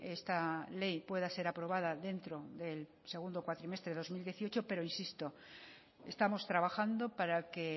esta ley pueda ser aprobada dentro del segundo cuatrimestre de dos mil dieciocho pero insisto estamos trabajando para que